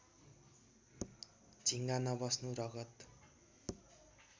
झिङ्गा नबस्नु रगत